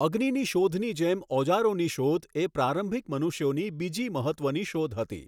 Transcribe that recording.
અગ્નિની શોધની જેમ ઓજારોની શોધ એ પ્રારંભિક મનુષ્યોની બીજી મહત્ત્વની શોધ હતી.